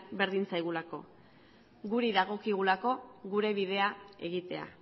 berdin zaigulako guri dagokigulako gure bidea egitea